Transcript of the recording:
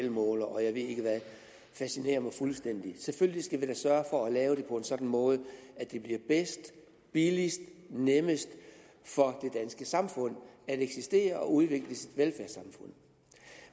elmålere og jeg ved ikke hvad fascinerer mig fuldstændig selvfølgelig skal vi da sørge for at lave det på en sådan måde at det bliver bedst billigst og nemmest for det danske samfund at eksistere og at udvikle sit velfærdssamfund